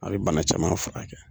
A bɛ bana caman fura kɛ.